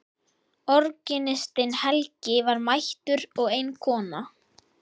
Organistinn Helgi var mættur og ein kona.